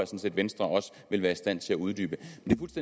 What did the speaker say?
set at venstre også vil være i stand til at uddybe det